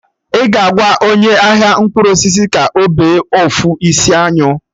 Ị ga-agwa onye ahia mkpụrụ osisi ka ọ bee ofu isi anyụ